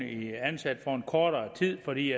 ansat i kortere tid fordi